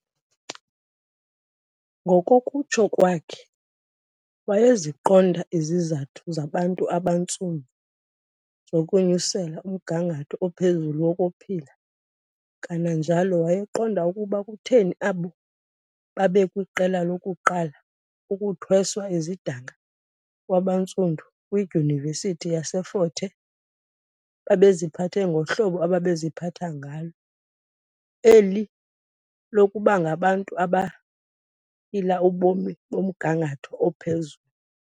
Ngokokutsho kwakhe, wayeziqonda izizathu zabantu abantsundu zokunyusela umgangatho ophezulu wokuphila kananjalo wayeqonda ukuba kutheni abo babekwiqela lokuqala ukuthweswa izidanga kwabantsundu kwidyunivesithi yaseFort Hare babeziphathe ngohlobo ababeziphatha ngalo, eli lokubangabantu abaphila ubomi bomgangatho ophezulu.